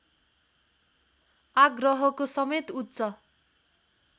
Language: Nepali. आग्रहको समेत उच्च